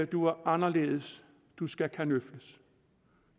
du er anderledes du skal kanøfles